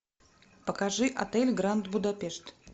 покажи отель гранд будапешт